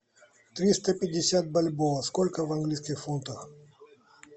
триста пятьдесят бальбоа сколько в английских фунтах